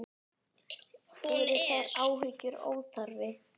Eru þær áhyggjur óþarfi?